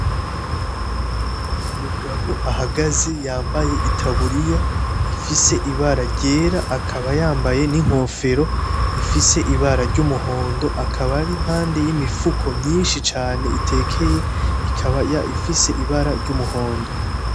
Ni umugabo ahagaze yambaye itaburiya ifise ibara ryera akaba yambaye n'inkofero ifise ibara ry'umuhondo, akaba ari impande y'imifuko myinshi cane itekeye, ikaba ifise ibara ry'umuhondo.